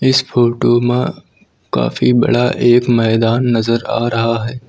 इस फोटो में काफी बड़ा एक मैदान नजर आ रहा है।